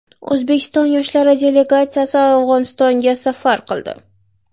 O‘zbekiston yoshlari delegatsiyasi Afg‘onistonga safar qildi.